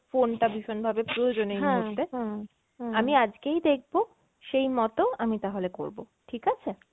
phone টা ভীষণভাবে প্রয়োজনীয় এই মুহূর্তে, আমি আজকেই দেখবো সেই মতো আমি তাহলে করবো ঠিক আছে?